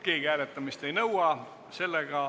Keegi hääletamist ei nõua.